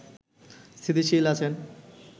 স্থিতিশীল আছেন